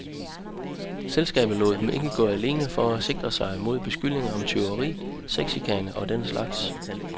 Selskabet lod dem ikke gå alene for at sikre sig mod beskyldninger om tyveri, sexchikane og den slags.